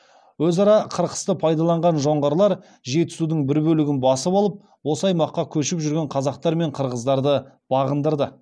өзара қырқысты пайдаланған жоңғарлар жетісудың бір бөлігін басып алып осы аймақта көшіп жүрген қазақтар мен қырғыздарды бағындырды